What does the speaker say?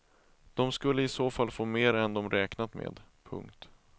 De skulle i så fall få mer än de räknat med. punkt